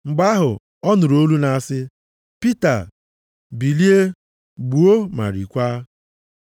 Mgbe ahụ, ọ nụrụ olu na-asị, “Pita bilie, gbuo ma riekwa.”